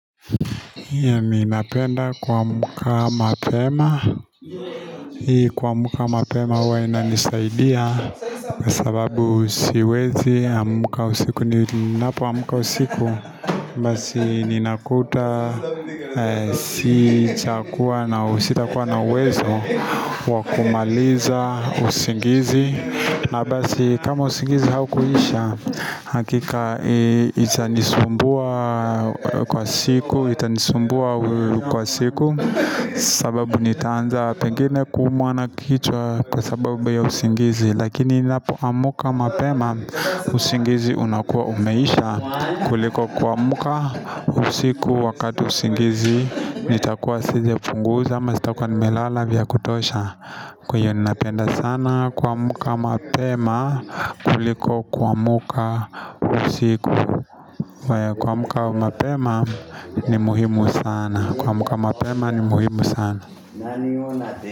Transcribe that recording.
Ninapenda kuamka mapema hii Kuamka mapema huwa inanisaidia Kwa sababu siwezi, amka usiku ninapoamka usiku Basi ninakuta, si cha kuwa na sitakuwa na uwezo wa kumaliza, usingizi na basi kama usingizi haukuisha Hakika itanisumbua kwa siku Itanisumbua kwa siku sababu nitaanza pengine kuumwa na kichwa Kwa sababu ya usingizi Lakini ninapoamka mapema usingizi unakuwa umeisha kuliko kuamka usiku wakati usingizi nitakuwa sijapunguza ama sitakuwa nimelala vya kutosha Kwa hiyo ninapenda sana kuamka mapema kuliko kuamka usiku Kuamka mapema ni muhimu sana.